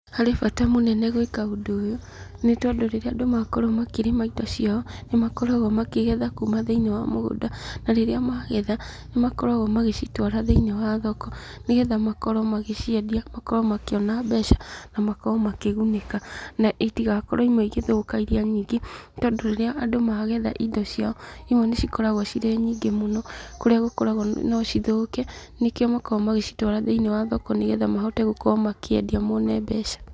Harĩ bata mũnene gwĩka ũndũ ũyũ nĩ tondũ rĩrĩa andũ makorwo makĩrĩma indo ciao nĩ makoragwo makĩgetha kuma thĩiniĩ wa mũgũnda, na rĩrĩa magetha nĩ makoragwo magĩtwara thĩiniĩ wa thoko, nĩgetha rĩrĩa maciendia makorwo makĩona mbeca na makorwo makĩgunĩka. Na itigakorwo imwe igĩthũka irĩa nyingĩ. Tondũ rĩrĩa andũ magetha indo ciao imwe nĩ cikoragwo cirĩ nyingĩ mũno kũrĩa gũkoragwo no cithũke, nĩkĩo makoragwo magĩcitwara thiĩniĩ wa thoko, nĩgetha mahote gũkorwo makĩendia, nĩgetha mone mbeca.